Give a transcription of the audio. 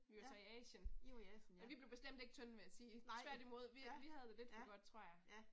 Ja. I var i Asien ja. Nej, ja, ja, ja